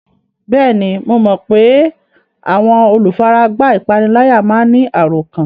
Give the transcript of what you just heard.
Bẹ́ẹ̀ni, mo mọ pé àwọn olùfaragbá ìpániláyà máa ń ní àròkán